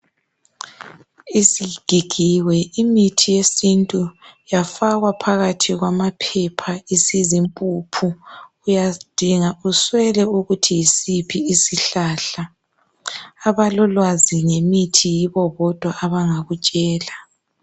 Isigigiwe imithi yesintu yafakwa phakathi kwamaphepha awesintu uyadinga uswele ukuthi yisiphi isihlahla abalolwazi ngemithi yibo bodwa abangakutshela